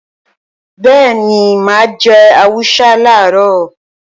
Bẹ́ẹ̀ni, mà á jẹ àwùsá làárọ̀